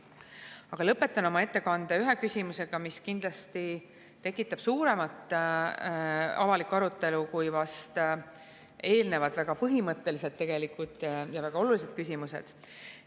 Aga ma lõpetan oma ettekande ühe küsimusega, mis kindlasti tekitab laiemat avalikku arutelu kui eelnevalt märgitud väga põhimõttelised ja väga olulised küsimused.